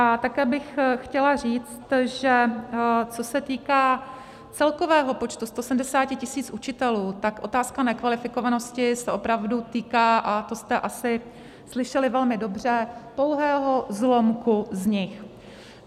A také bych chtěla říct, že co se týká celkového počtu 170 tisíc učitelů, tak otázka nekvalifikovanost se opravdu týká, a to jste asi slyšeli velmi dobře, pouhého zlomku z nich.